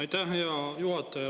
Aitäh, hea juhataja!